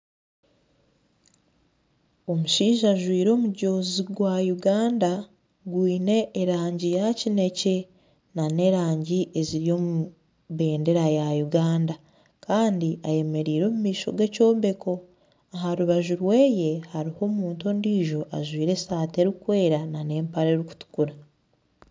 Omushaija ajwaire omujoozi gwa Uganda gwine erangi ya kinekye nana erangi eziri omu bendera ya Uganda Kandi ayemereire omu maisho gekyombeko aharubaju rwe hariho omuntu ondiijo ajwaire esaati erikwera nana empare erikutukura